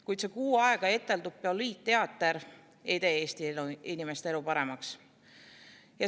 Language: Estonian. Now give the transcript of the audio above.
Kuid see kuu aega eteldud poliitteater ei tee Eesti inimeste elu paremaks.